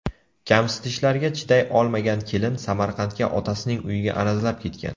Kamsitishlarga chiday olmagan kelin Samarqandga otasining uyiga arazlab ketgan.